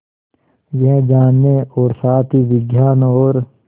यह जानने और साथ ही विज्ञान और